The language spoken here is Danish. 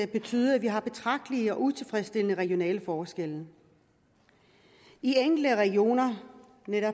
betydet at vi har betragtelige og utilfredsstillende regionale forskelle i enkelte regioner